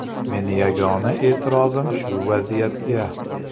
Meni yagona e’tirozim shu vaziyatga.